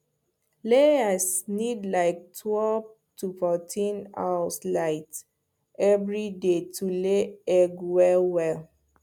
layers need like twelve to fourteen house light every day to lay egg well well